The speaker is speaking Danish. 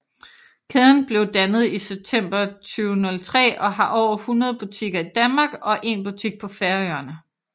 Kæden blev dannet i september 2003 og har over 100 butikker i Danmark og 1 butik på Færøerne